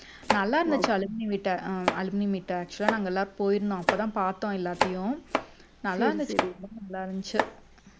நல்லா இருந்துச்சு alumni meet ஆஹ் alumni meet actual ஆ நாங்க எல்லாரும் போயிருந்தோம் அப்போதான் பாத்தோம் எல்லாத்தையும் நல்லாருந்துச்சு ரொம்ப நல்லாருந்துச்சு